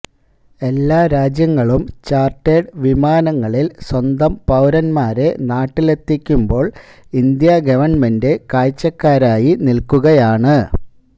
എല്ലാ രാജ്യങ്ങളും ചാർട്ടേഡ് വിമാനങ്ങളിൽ സ്വന്തം പൌരന്മാരെ നാട്ടിലെത്തിക്കുമ്പോൾ ഇന്ത്യാ ഗവൺമെന്റ് കാഴ്ചക്കാരായി നിൽക്കുകയാണ്